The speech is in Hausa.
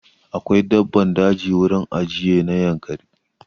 Akwai daban daji a wurin ajiye na Yankari.